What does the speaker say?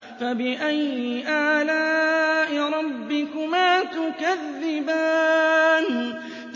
فَبِأَيِّ آلَاءِ رَبِّكُمَا تُكَذِّبَانِ